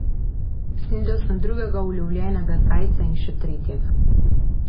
Snedel sem drugega ulovljenega zajca in še tretjega.